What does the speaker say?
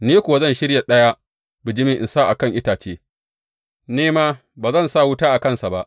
Ni kuwa zan shirya ɗaya bijimin in sa a kan itace, ni ma, ba zan sa wuta a kansa ba.